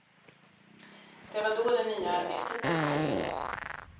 Det var då det nya arbetet dök upp.